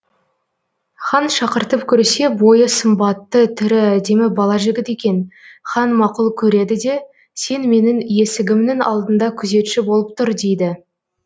хан шақыртып көрсе бойы сымбатты түрі әдемі бала жігіт екен хан мақұл көреді де сен менің есігімнің алдында күзетші болып тұр дейді